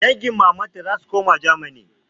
Dangin mamanta zasu koma germany